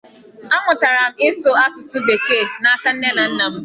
Amụtara m ịsụ asụsụ bekee n’aka nne na nna m.